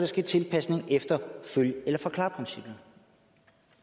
ske tilpasning efter følg eller forklar princippet